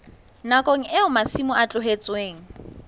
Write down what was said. nakong eo masimo a tlohetsweng